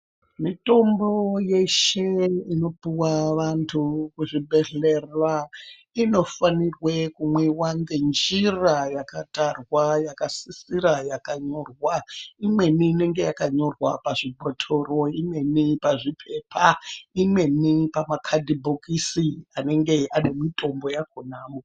Mitombo yeshe inopuwa vantu muzvibhedhlera, inofanirwe kumwiwa ngenjira yakatarwa, yakasisira, yakanyorwa. Imweni inenge yakanyorwa pazvibhothoro, imweni pazviphepha, imweni pamakhadhibhokisi anenge ane mitombo yakhonayo.